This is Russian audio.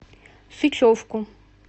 сычевку